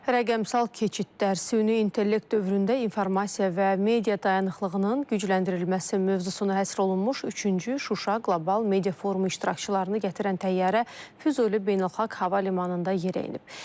Rəqəmsal keçidlər, süni intellekt dövründə informasiya və media dayanıqlığının gücləndirilməsi mövzusuna həsr olunmuş üçüncü Şuşa qlobal media forumu iştirakçılarını gətirən təyyarə Füzuli beynəlxalq hava limanında yerə enib.